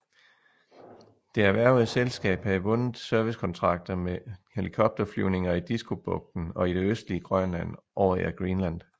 Det erhvervede selskab havde vundet servicekontrakter med helikopterflyvninger i Diskobugten og i det østlige Grønland over Air Greenland